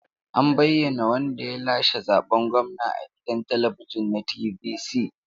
An bayyana wanda ya lashe zaben gwamna a gidan talabijin na TVC.